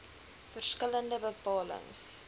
verskil lende bepalings